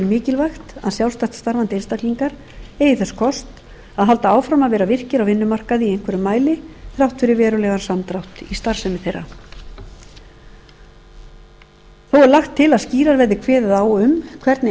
mikilvægt að sjálfstætt starfandi einstaklingar eigi þess kost að halda áfram að vera virkir á vinnumarkaði í einhverjum mæli þrátt fyrir verulegan samdrátt í starfsemi þeirra þó er lagt til að skýrar verði kveðið á um hvernig